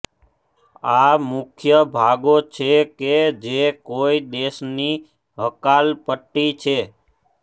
આ મુખ્ય લાભો છે કે જે કોઈ દેશની હકાલપટ્ટી છે